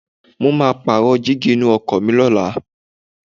Mo máa pààrọ̀ dígí inú ọkọ̀ mi lọ́la.